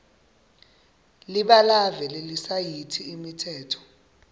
libalave lelisayithi imitsetfo